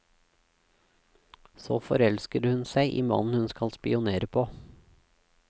Så forelsker hun seg i mannen hun skal spionere på.